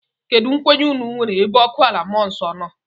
Kedu nkwenye unu nwéré ebe ọkụ ala mmụọ nọ?